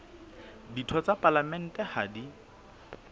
ditho tsa palamente ha di